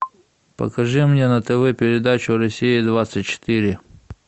покажи мне на тв передачу россия двадцать четыре